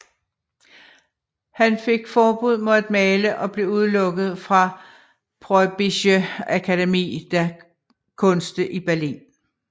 Han fik forbud mod at male og blev udelukket fra Preußische Akademie der Künste i Berlin